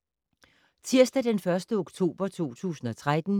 Tirsdag d. 1. oktober 2013